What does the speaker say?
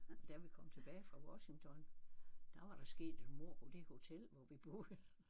Og da vi kom tilbage fra Washington der var der sket et mord på det hotel hvor vi boede